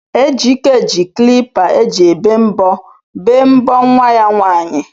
Ejike ji klipa eji ebe mbọ bee mbọ nwa ya nwaanyị.